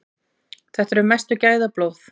Þetta eru mestu gæðablóð.